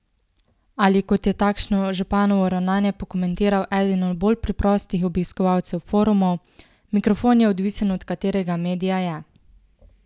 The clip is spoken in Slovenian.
Ali, kot je takšno županovo ravnanje pokomentiral eden od bolj preprostih obiskovalcev forumov: "Mikrofon je odvisen od katerega medija je.